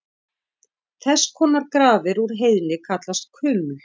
Þess konar grafir úr heiðni kallast kuml.